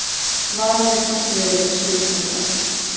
Varað við hvassviðri við suðurströndina